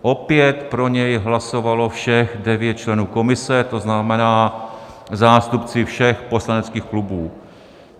Opět pro něj hlasovalo všech devět členů komise, to znamená zástupci všech poslaneckých klubů.